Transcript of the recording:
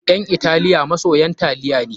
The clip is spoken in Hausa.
Ƴan Italiya masoyan taliya ne.